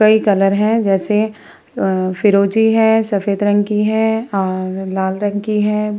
कई कलर हैं जैसे अ फ़िरोज़ी हैं सफ़ेद रंग की है अ लाल रंग की है।